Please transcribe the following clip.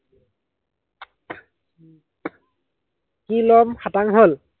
কি লম, খাটাং হল?